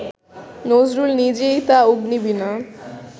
নজরুল নিজেই তো অগ্নিবীণা